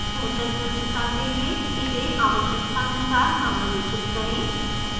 बेहतर द्रश्यता के लिए इसे आवश्यकतानुसार समायोजित करें